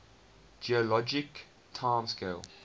geologic time scale